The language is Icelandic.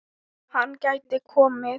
Hann gæti komið